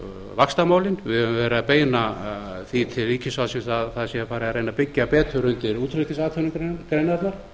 höfum verið að beina því til ríkisvaldsins að það sé farið að reyna að byggja betur undir útflutningsatvinnugreinarnar